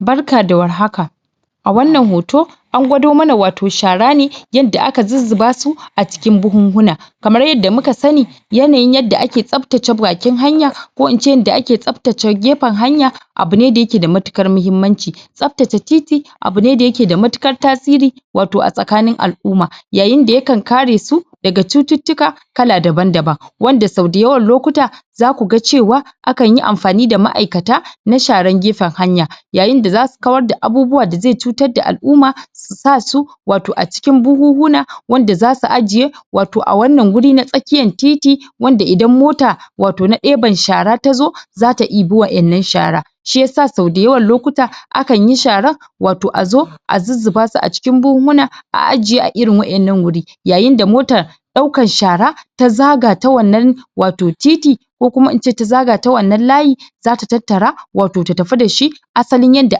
barka da war haka a wannan hoto angwado mana wato sharane yanda aka zuzzubasu a cikin buhun huna kamar yanda muka sani yanayin yadda ake tsaftace bakin hanya ko ince yanda ake tsaftace gefen hanya abune da yake da matuƙar mahimmanci tsaftace titi abune da yake da matuƙar tasiri wato a tsakanin al'umma yayin da yakan karesu daga cututtuka kala daban daban wanda sau da yawan lokuta zaku ga cewa akanyi amfani da ma'aikata na sharan gefen hanya yayin da zasu kawar da abubuwa da zai cutar da al'umma su sasu wato a cikin buhuhuna wanda zasu ajje wato a wannan wuri na tsakiyar titi wanda idan mota wato na ɗeban shara tazo zata ɗebi wa in nan shara shiyasa sau da yawan lokuta akanyi sharar wato azo a zuzzubasu a cikin buhunhuna a ajje a irin wa innan wuri yayin da motar ɗaukan shara ta zaga ta wannan wato titin ko kuma ince ta zaga ta wannan layi zata tattara wato ta tafi dashi asalin yanda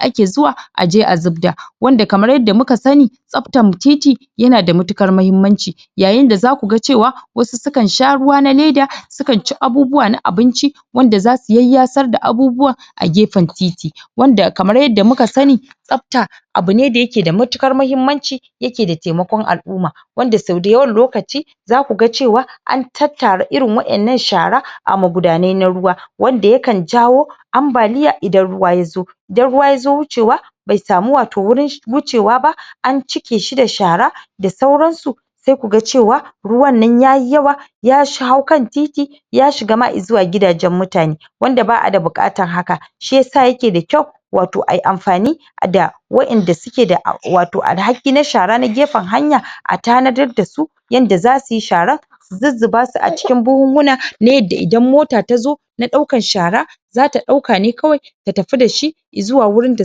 ake zuwa aje a zubda wanda kamar muka sani tsaftar titi yana da matuƙar mahimmanci yayin da zaku ga cewa wasu sukan sha ruwa na leda sukanci abubuwa na abinci wanda zasu yayyasar da abubuwa a gefen titi wanda kamar yanda muka sani tsafta abune da yake da matuƙar mahimmanci yake da taimakon al'umma wanda sau da yawan lokaci zaku ga cewa a tattara irin wa inna shara a magudanai na ruwa wanda yakan jawo ambaliya idan ruwa yazo idan ruwa yazo wucewa be samu wato wurin wuce wa ba ancike shi da shara da sauransu sai kuga cewa ruwan nan yayi yawa ya hau kan titi ya shiga ma izuwa gida jan mutane wanda ba ada buƙatar hakan shiyasa yake da kyau wato ayi amfani da wa inda suke suke da wato ahaki na shara na gefen hanya a tanadar dasu yanda zasuyi sharar su zuzzubasu a cikin buhunhuna nayanda idan mota tazo na ɗaukan shara zata ɗauka ne kawai ta tafi dashi izuwa gurin da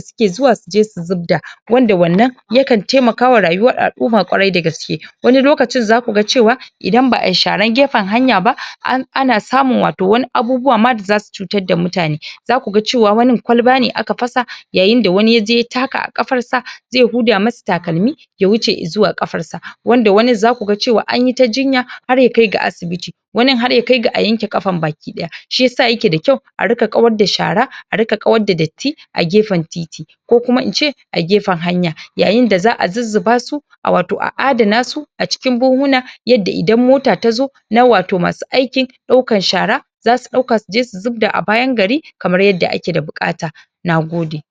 suke zuwa su zubda wanda wannan yakan taimakawa rayuwar al'umma kwarai da gaske wani lokacin zaku ga cewa idan ba ayi sharar gefen hanya ba ana samun wato wani abubuwa ma da zasu cutar da mutane zaku ga cewa wanin kwalba ne aka fasa yayin da wani yaje ya taka a kafarsa zai huda masa takalmi ya wuce izuwa kafarsa wanda wanin zaku ga anta jinya har ya kai ga asibiti wanan har ya kai da anyanke kafar baki ɗaya shiyasa yake da kyau a riƙa kawar da shara a riƙa kawar da datti a gefen titi ko kuma ince a gefen hanya yayin da za a zuzzubasu wato a adanasu a cikin buhunhuna yanda idan mota tazo na wato masu aikin ɗaukar shara zasu ɗauka suje su zubda a bayan gari kamar yanda ake da buƙata nagode